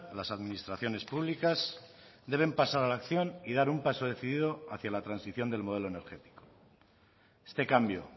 las administraciones públicas deben pasar a la acción y dar un paso decidido hacia la transición del modelo energético este cambio